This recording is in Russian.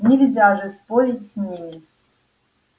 нельзя же спорить с ними